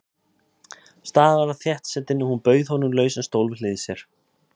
Staðurinn var þéttsetinn og hún bauð honum lausan stól við hlið sér.